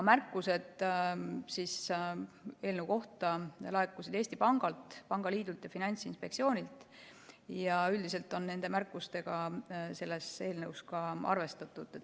Märkused eelnõu kohta laekusid Eesti Pangalt, pangaliidult ja Finantsinspektsioonilt ning üldiselt on nende märkustega selles eelnõus ka arvestatud.